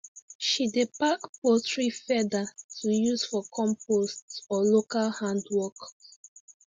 she dey pack poultry feather to use for compost or local handwork